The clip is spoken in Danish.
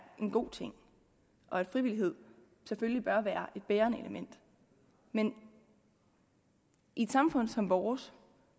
en god ting og at frivillighed selvfølgelig bør være et bærende element men i et samfund som vores